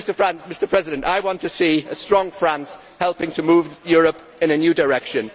Mr President, I want to see a strong France helping to move Europe in a new direction.